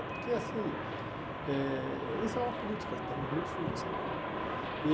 É, porque assim, eh isso é uma política também muito suja, sabe? E